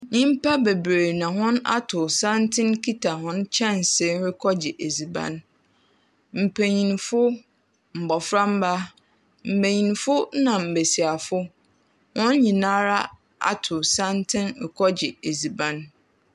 Nyimpa beberee na hɔn atow santsen kita hɔn kyɛnsee rekɔgye edziban. Mpenyinfo, mboframba, mbenyinfona mbesiafo, hɔn nyinara atow santsen rekɔgye edziban.